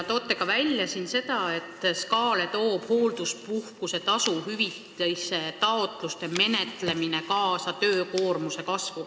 Toote välja ka seda, et Sotsiaalkindlustusametile toob hoolduspuhkuse tasu hüvitamise taotluste menetlemine kaasa töökoormuse kasvu.